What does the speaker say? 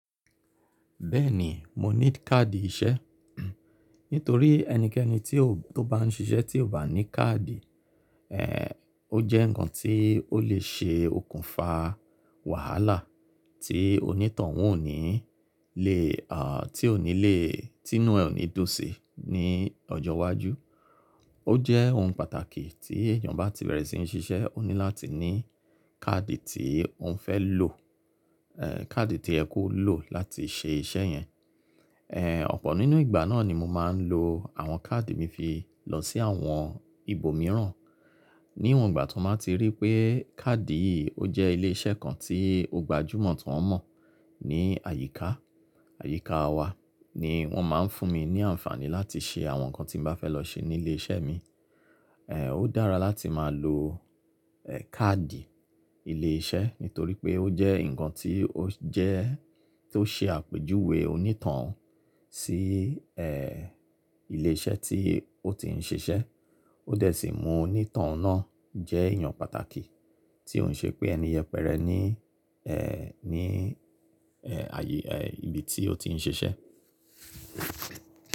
Bẹ́ẹ̀ni, mo ní kaadi iṣẹ́. Nítorí ẹnikẹ́ni tó bá ń ṣiṣẹ́ tí ò bá ní kaadi, ó jẹ́ ǹkan tí ó lè ṣe okùnfà wàhálà tí onítoun ò ní lè, tí ò ní lè, tí inú ẹ ò ní dùn sí ní ọjọ́ iwájú. Ó jẹ́ ohun pàtàkì tí èèyàn bá ti bẹ̀rẹ̀ sí ní ṣiṣẹ́, ó ní láti ní kaadi tí òun fẹ́ lò, kaadi to ye ko lò láti ṣe iṣẹ́ yẹn. Ọ̀pọ̀ nínú ìgbà náà ni mo máa ń lo àwọn kaadi mi fi lọ sí àwọn ibòmíràn. Níwọ̀n ìgbà tọ́n bá ti rí pé kaadi yìí ó jẹ́ ilé iṣẹ́ kan tí ó gbajúmọ̀ ti won mọ̀ ní àyíká, àyíká wa ni wọ́n máa ń fún mi ní àǹfààní láti ṣe àwọn ǹkan tí ǹ bá fẹ́ lọ ṣe ní ilé iṣẹ́ mi. Ó dára láti máa lo kaadi ilé iṣẹ́ nítorí pé ó jẹ́ ǹkan tí ó jẹ́, tó ṣe àpèjúwe onítohun sí ilé iṣẹ́ tí ó ti ń ṣiṣẹ́. Ó dẹ̀ sì mú onítohun náà jẹ́ èèyàn pàtàkì tí ó ń ṣe pé ẹni yẹpẹrẹ ni, ní ibi tí ó ti ń ṣiṣẹ́.